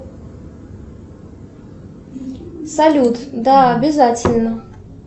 салют да обязательно